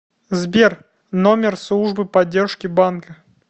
сбер номер службы поддержки банка